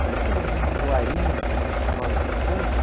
Será que eles não doariam para uma escola de samba?